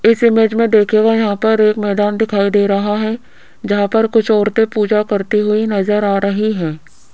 इस इमेज में देखिएगा यहां पर एक मैदान दिखाई दे रहा है जहां पर कुछ औरतें पूजा करती हुई नजर आ रही हैं।